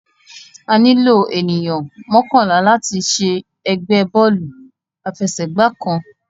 Àní ló ènìyàn mọkanla lati ṣe ẹgbẹ Bọ́ọ̀lù àfẹsẹ̀gbá kan